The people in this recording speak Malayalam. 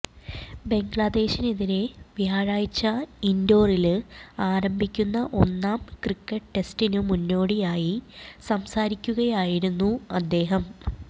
ബംഗ്ലാദേശിനെതിരേ വ്യാഴാഴ്ച ഇന്ഡോറില് ആരംഭിക്കുന്ന ഒന്നാം ക്രിക്കറ്റ് ടെസ്റ്റിനു മുന്നോടിയായി സംസാരിക്കുകയായിരുന്നു അദ്ദേഹം